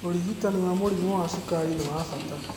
ũrigitani wa mũrimũ wa cukari nĩ wa bata